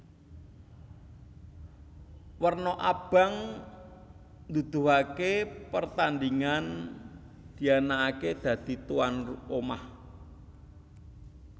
Werna abang nuduhaké pertandhingan dianakaké dadi tuwan omah